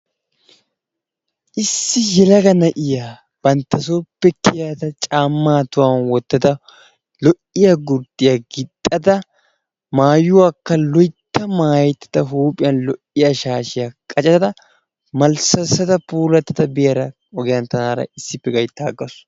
Issi yelaga na'iya bantta sooppe kiyada caammaa tohuwan wottada lo"iya gurddiya gixxada, maayuwakka loytta maayettada huuphiyan lo"iya shaashiya qacada malssassada lo'ada biyara ogiyan tanaara issippe gayttaagasu.